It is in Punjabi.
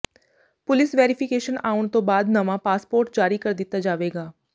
ਪੁਲਿਸ ਵੈਰੀਫਿਕੇਸ਼ਨ ਆਉਣ ਤੋਂ ਬਾਅਦ ਨਵਾਂ ਪਾਸਪੋਰਟ ਜਾਰੀ ਕਰ ਦਿੱਤਾ ਜਾਵੇਗਾ